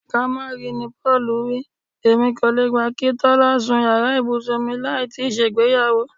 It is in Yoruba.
Ká má ri ni Pó̩ò̩lù wí. Èmi ò le gbà kí Tó̩lá sun yàrà ibùsùn mi láì tíì s̩ègbéyàwó.